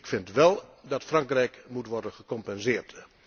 Ik vind wel dat Frankrijk moet worden gecompenseerd.